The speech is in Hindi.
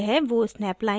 यह वो snap line है